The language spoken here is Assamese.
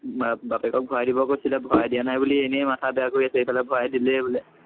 বা বাপেকক ভৰাই দিব কৈছিলে, ভৰাই দিয়া নাই বুলি এনেই মাথা বেয়া কৰি আছে, ইফালে ভৰাই দিলেই বোলে।